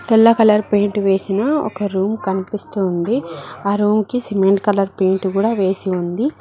తెల్ల colour paint వేసిన ఒక రూమ్ కనిపిస్తోంది ఆ రూమ్ కి సిమెంట్ కలర్ పెయింట్ కూడా వేసి ఉంది.